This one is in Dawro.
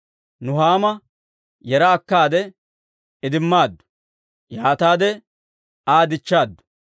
Nuhaama yeera akkaade idimmaaddu; yaataade Aa dichchaaddu.